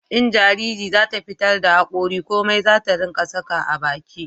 in jariri za ta fitar da hakori komai zata ringa saka a baki